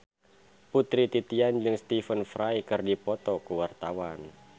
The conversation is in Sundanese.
Putri Titian jeung Stephen Fry keur dipoto ku wartawan